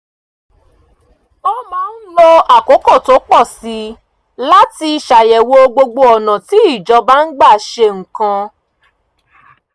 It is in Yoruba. ó máa ń lo àkókò tó pọ̀ sí i láti ṣàyẹ̀wò gbogbo ọ̀nà tí ìjọba ń gbà ṣe nǹkan